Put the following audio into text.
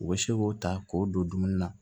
U bɛ se k'o ta k'o don dumuni na